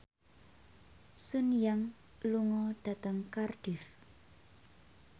Sun Yang lunga dhateng Cardiff